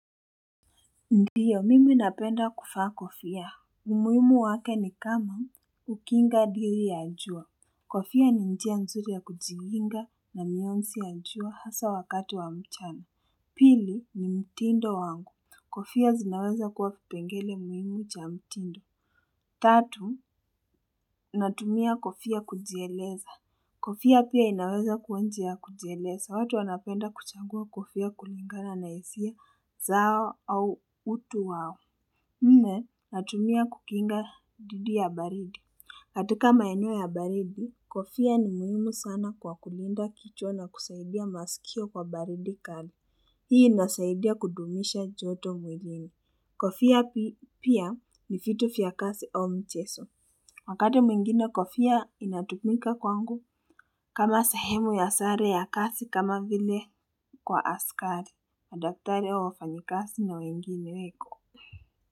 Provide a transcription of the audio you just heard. Ndiyo, mimi napenda kufaa kofia. Umuimu wake ni kama kukinga diri ya jua. Kofia ni njia nzuri ya kujiunga na mionzi ya jua hasa wakati wa michwano. Pili ni mtindo wangu. Kofia zinaweza kuwa kipengele muhimu cha mtindo. Tatu, natumia kofia kujieleza. Kofia pia inaweza kuwa njia ya kujieleza. Watu wanapenda kuchangua kofia kulingana na hisia zao au utu wao. Nne natumia kukinga dhidi ya baridi katika maeneo ya baridi kofia ni muhimu sana kwa kulinda kichwa na kusaidia masikio kwa baridi kali hii inasaidia kudumisha joto mwilini kofia pia ni fitu fya kasi au mcheso wakati mwingine kofia inatumika kwangu kama sehemu ya sare ya kasi kama vile kwa askari madaktari au wafanyikasi na wengine weko.